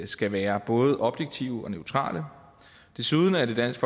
skal være både objektive og neutrale desuden er det dansk